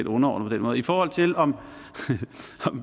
underordnet i forhold til om